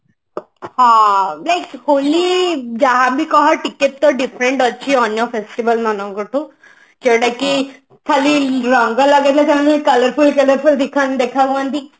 ହଁ ହୋଲି ଜାହା ବି କହ ଟିକେ ତ different ଅଛି ଅନ୍ୟ festival ମାନଙ୍କଠୁ ଯୋଉଟା କି ଖାଲି ରଙ୍ଗ ଲଗେଇ କଣ ଆମେ colorful colorful ଦେଖା ଦେଖା ହୁଅନ୍ତି କି